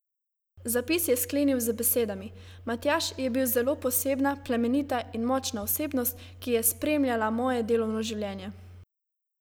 Zapis je sklenil z besedami: "Matjaž je bil zelo posebna, plemenita in močna osebnost, ki je spremljala moje delovno življenje.